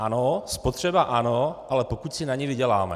Ano, spotřeba ano, ale pokud si na ni vyděláme.